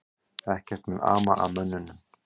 Ekkert mun ama að mönnunum